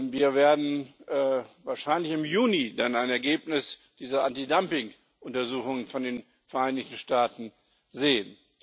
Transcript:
Wir werden wahrscheinlich im Juni dann ein Ergebnis dieser Antidumping Untersuchungen von den Vereinigten Staaten sehen.